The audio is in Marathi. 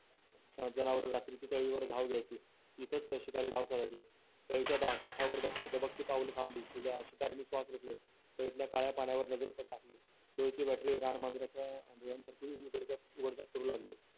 जनावर रात्रीचे वर धाव घ्यायची इथेच शिकारी डाव साजायचे काठावर दबगते पाऊल एकदम काळ्यापाण्यावर नजरेत गोंधळ करू लागले